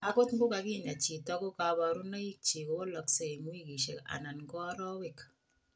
Angot ko kakinya chito ko kaparunaik chik kowalaksei eng wikishek anan ko arawek